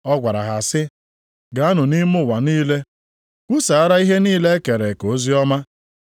Ọ gwara ha sị, \+wj “Gaanụ nʼime ụwa niile kwusaara ihe niile e kere eke oziọma.\+wj*